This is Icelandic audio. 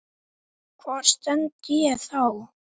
Hvar stend ég þá?